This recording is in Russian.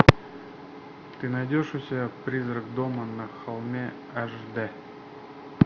ты найдешь у себя призрак дома на холме аш д